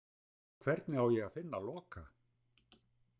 Hvernig á ég að finna Loka?